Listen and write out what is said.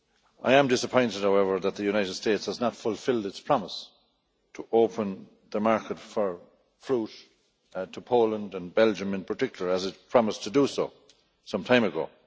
I am disappointed, however, that the United States has not fulfilled its promise to open the market for fruit to Poland and Belgium in particular, as it promised to do some time ago.